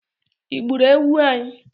I gburu ewu anyi?